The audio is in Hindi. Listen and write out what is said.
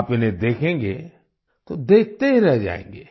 आप इन्हें देखेंगे तो देखते ही रह जायेंगे